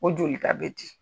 O jolita bɛ di.